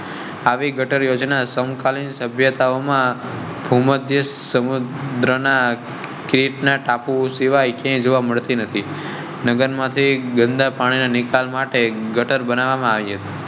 આવી ગટર યોજના સમ કાલીન સભ્યતાઓ માં ભૂમધ્ય સમુદ્ર ના ગીત ના ટાપુ સિવાય કે જોવા મળતી નથી. ગંદા પાણી ના નિકાલ માટે ગટર બનાવવા માં આવી હતી.